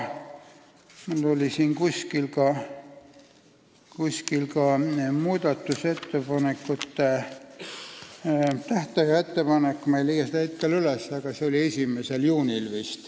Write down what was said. Mul oli siin kuskil ka muudatusettepanekute esitamise tähtaja ettepanek, ma ei leia seda hetkel üles, aga see tähtpäev oli vist 1. juunil.